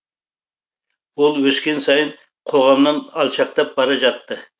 ол өскен сайын қоғамнан алшақтап бара жатты